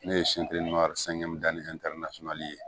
Ne ye ye